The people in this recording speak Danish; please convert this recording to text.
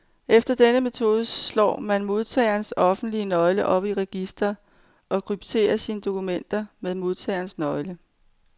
Efter denne metode slår man modtagerens offentlige nøgle op i registret, og krypterer sine dokumenter med modtagerens nøgle.